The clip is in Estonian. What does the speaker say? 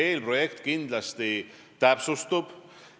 Eelprojekt kindlasti veel täpsustub.